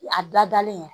A dadalen